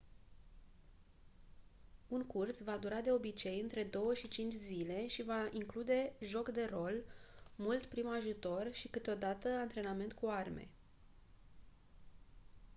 un curs va dura de obicei între 2-5 zile și va include joc de rol mult prim ajutor și câteodată antrenament cu arme